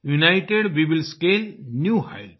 United we will scale new Heights